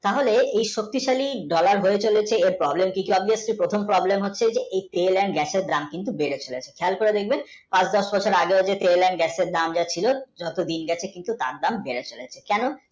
তাহলে এই শক্তিশালী dollar বলতে গেলে প্রথম problem হচ্ছে তেল and gas এর দাম কিন্তু বেড়েছে খেয়াল করে দেখবেন পাঁচ বছর আগে তেল and gas এর দাম যা ছিল যত দিন গেছে তার দাম বেড়ে চলেছে।